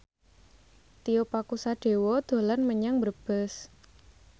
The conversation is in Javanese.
Tio Pakusadewo dolan menyang Brebes